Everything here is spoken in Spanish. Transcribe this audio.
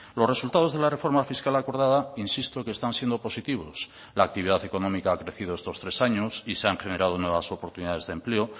los resultados de la reforma fiscal acordada insisto que están siendo positivos la actividad económica ha crecido estos tres años y se han generado nuevas oportunidades de empleo